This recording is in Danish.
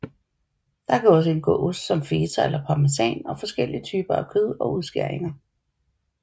Der kan også indgå ost som feta eller parmesan og forskellige typer kød og udskæringer